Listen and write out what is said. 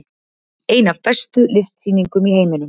Ein af bestu listsýningum í heiminum